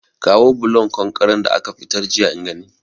Kawo bulon konkaren da aka fitar jiya in gani